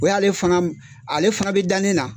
O y'ale ale fana bi dannen na